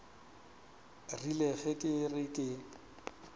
rile ge ke re ke